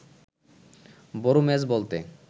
বড় ম্যাচ বলতে